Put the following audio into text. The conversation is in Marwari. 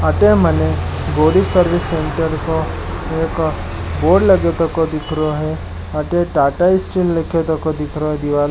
अठ मने गौरी सर्विस सेंटर का बोर्ड लगा थको दिख रहा है अटै टाटा स्टील लिखो थको दिख रहा है दीवार पे --